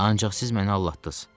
Ancaq siz məni aldatdınız.